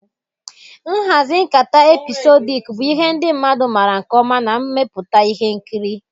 Nhazi nkata epịsodik bụ ihe ndị mmadụ maara nke ọma na mmepụta ihe nkiri.